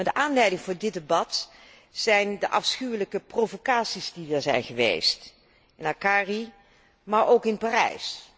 De aanleiding voor dit debat zijn de afschuwelijke provocaties die er zijn geweest, in Akari, maar ook in Parijs.